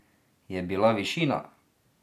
Je bila višina?